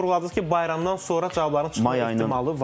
Siz vurğuladınız ki, bayramdan sonra cavabların çıxma ehtimalı var.